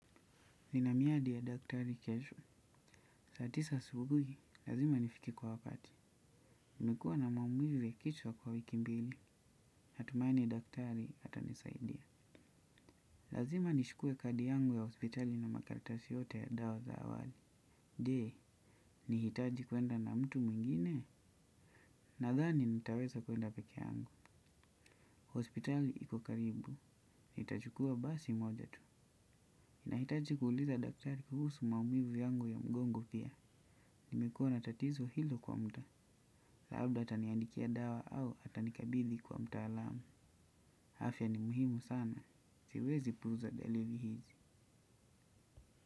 Nina miadi ya daktari kesho. Saa tisa asubuhi, lazima nifike kwa wakati. Nimekuwa na maumivu ya kichwa kwa wiki mbili. Natumaini daktari ata nisaidia. Lazima nichukue kadi yangu ya hospitali na makaratasi yote ya dawa za awali. Je, nihitaji kwenda na mtu mwingine. Nadhani nitaweza kwenda peke yangu. Hospitali iko karibu. Nitachukua basi moja tu. Nahitaji kuuliza daktari kuhusu maumivu yangu ya mgongo pia. Nimekuwa na tatizo hilo kwa muda. Labda ata niandikia dawa au ata nikabidhi kwa mtaalamu afya ni muhimu sana. Siwezi puuza dalili hizi.